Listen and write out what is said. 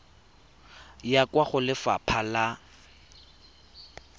ya kwa go lefapha la